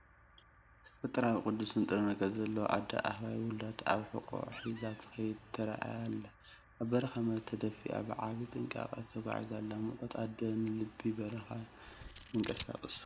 ተፈጥሮኣዊ ቅዱስ ንጥረ ነገር ዘለዋ ኣደ ኣህባይ፡ ውላዳ ኣብ ሕቖኣ ሒዛ ክትከይድ ተራእይ ኣላ፡፡ ኣብ በረኻዊ መሬት ተደፊኣ ብዓቢይ ጥንቃቐ ተጓዒዛ ኣላ። “ሙቐት ኣደ ንልቢ በረኻ የንቀሳቕሶ።”